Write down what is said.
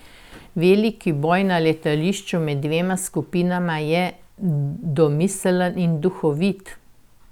Veliki boj na letališču med dvema skupinama je domiseln in duhovit.